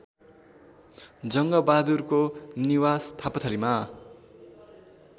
जङ्गबहादुरको निवास थापाथलीमा